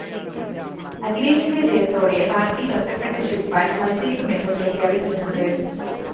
അഖിലേഷിന്റെ ജയത്തോടെ പാര്‍ട്ടിയില്‍ ഒറ്റപ്പെട്ട ശിവ്പാല്‍ മത്സരിക്കുമെന്ന് പ്രഖ്യാപിച്ചിട്ടുണ്ട്